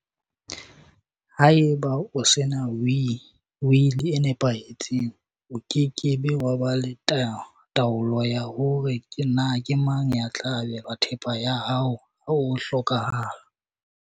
Haeba o sena wili e nepahetseng, o ke ke wa ba le taolo ya hore na ke mang ya tla abelwa thepa ya hao ha o hlokaha la.